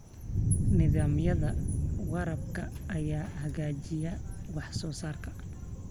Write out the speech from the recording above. Nidaamyada waraabka ayaa hagaajiya wax soo saarka.